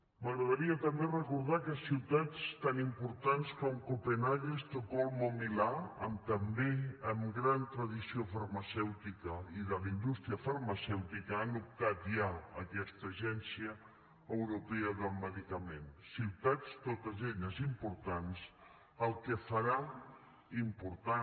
m’agradaria també recordar que ciutats tan importants com copenhaguen estocolm o milà amb també gran tradició farmacèutica i de la indústria farmacèutica han optat ja a aquesta agència europea del medicament ciutats totes elles importants el que farà important